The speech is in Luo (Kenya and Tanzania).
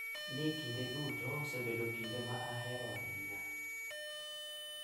Ni kinde duto osebedo kinde ma ahero ahinya.